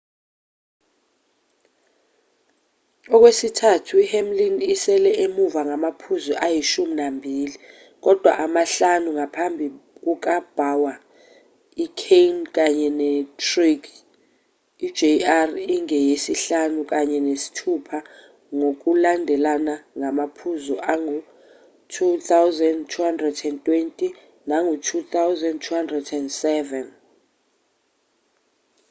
okwesithathu i-hamlin isele emuva ngamaphuzu ayishumi nambili kodwa amahlanu ngaphambi kuka-bowyer i-kahne kanye ne-truex i-jr ingeyesihlanu kanye nesithupha ngokulandelana ngamaphuzu angu-2,220 nangu-2,207